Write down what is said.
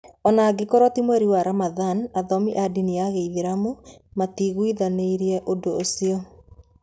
O na angĩkorũo ti mweri wa Ramadhan, athomi a ndini ya Kĩislamu matiiguithanĩirie ũndũ ũcio.